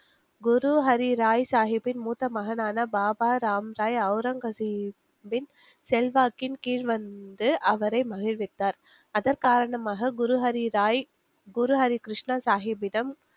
குருஹரி ராய் சாஹிப்பின் மூத்த மகனான பாபா ராம்ராய் ஒளரங்கசீப்பின் செல்வாக்கின் கீழ் வந்து அவரை மகிழ்வித்தார், அதன் காரணமாக குரு ஹரி ராய் குருஹரி கிருஷ்ணா சாஹிப்பிடம்